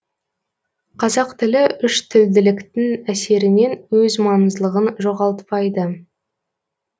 қазақ тілі үштілділіктің әсерінен өз маңыздылығын жоғалтпайды